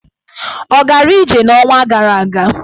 Ọ gara ije n'ọnwa gara aga?